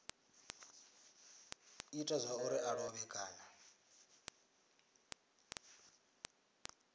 ita zwauri a lovhe kana